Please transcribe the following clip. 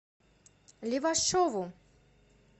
левашову